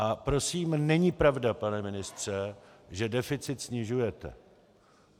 A prosím není pravda, pane ministře, že deficit snižujete.